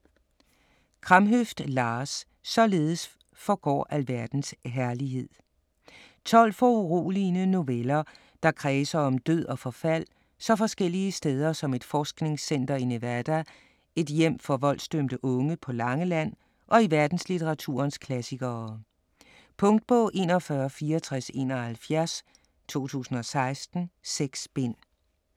Kramhøft, Lars: Således forgår alverdens herlighed 12 foruroligende noveller, der kredser om død og forfald så forskellige steder som et forskningscenter i Nevada, et hjem for voldsdømte unge på Langeland og i verdenslitteraturens klassikere. Punktbog 416471 2016. 6 bind.